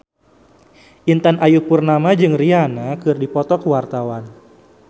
Intan Ayu Purnama jeung Rihanna keur dipoto ku wartawan